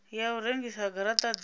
ya u rengisa garata dza